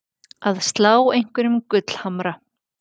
Að slá einhverjum gullhamra